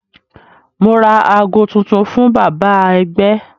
Mo ra aago tuntun fún bàbá ẹgbẹ́